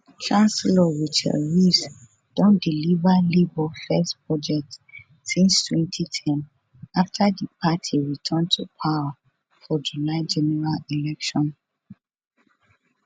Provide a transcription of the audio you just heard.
chancellor rachel reeves don deliver labour first budget since 2010 after di party return to power for july general election